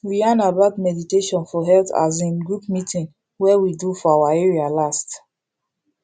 we yarn about meditation for health as in group meeting wey we do for our area last